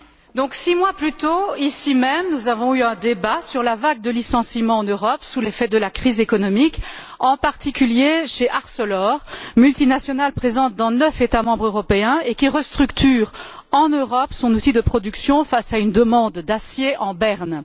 Monsieur le Commissaire, six mois plus tôt, ici même, nous avons eu un débat sur la vague de licenciement en Europe sous l'effet de la crise économique, en particulier chez Arcelor, multinationale présente dans neuf États membres européens et qui restructure en Europe son outil de production face à une demande d'acier en berne.